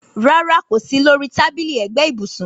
Rárá kò sí lori tábìlì ẹ̀gbẹ́ ibùsùn